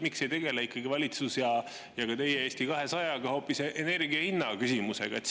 Miks ikkagi valitsus ja Eesti 200 ei tegele hoopis energia hinna küsimusega?